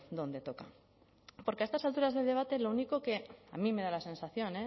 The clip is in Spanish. donde toca porque a estas alturas del debate lo único que a mí me da la sensación